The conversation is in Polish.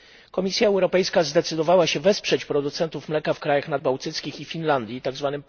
Komisja Europejska zdecydowała się wesprzeć producentów mleka w krajach nadbałtyckich i w Finlandii tzw.